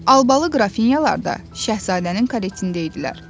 Albalı Qrafinyalar da Şahzadənin karetində idilər.